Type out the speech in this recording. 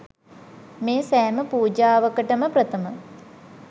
මේ සෑම පූජාවකටම ප්‍රථම